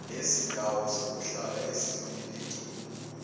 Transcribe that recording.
nezindawo zokuhlala ezihloniphekile